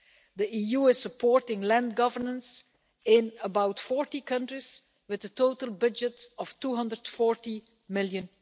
The EU is supporting land governance in about 40 countries, with a total budget of EUR 240 million.